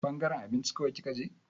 Ɓangaren abinci kawai kika je?